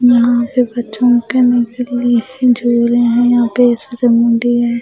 यहाँ पर बच्चों के झूले हैं यहाँ पे संडे है।